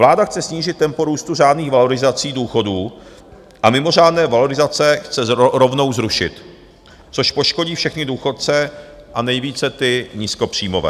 Vláda chce snížit tempo růstu řádných valorizací důchodů a mimořádné valorizace chce rovnou zrušit, což poškodí všechny důchodce a nejvíce ty nízkopříjmové.